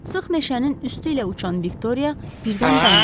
Sıx meşənin üstü ilə uçan Viktoriya birdən dayandı.